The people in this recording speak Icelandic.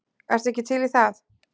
Ertu ekki til í það?